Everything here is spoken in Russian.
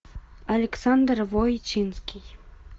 александр войтинский